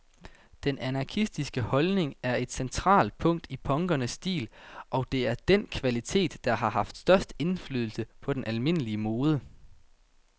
Den anarkistiske holdning er et centralt punkt i punkernes stil, og det er den kvalitet, der har haft størst indflydelse på den almindelige mode.